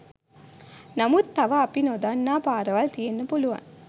නමුත් තව අපි නොදන්නා පාරවල් තියෙන්න පුළුවන්.